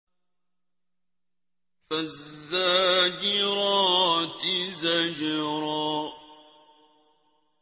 فَالزَّاجِرَاتِ زَجْرًا